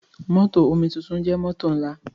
Mótò omituntun jẹ́ mótò ńlá.